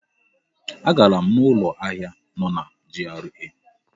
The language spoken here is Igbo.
Agara m n'ụlọ ahịa nọ na GRA.